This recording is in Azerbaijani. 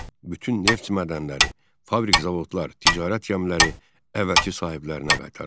Bütün neft mədənləri, fabrik-zavodlar, ticarət gəmiləri əvvəlki sahiblərinə qaytarıldı.